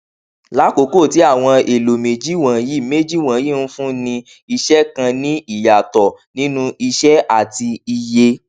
lákókò tí àwọn èlò méjì wọnyí méjì wọnyí ńfúnni iṣẹ kàn ní ìyàtọ nínú iṣẹ àti iye